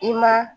I ma